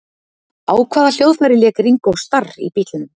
Á hvaða hljóðfæri lék Ringo Starr í Bítlunum?